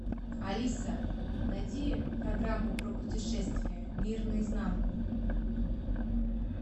алиса найди программу про путешествия мир наизнанку